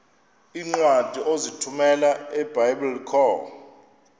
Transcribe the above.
iincwadi ozithumela ebiblecor